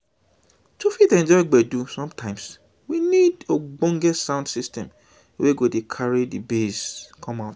to fit enjoy gbedu sometimes we need ogbonge sound system wey go dey carry di bass come out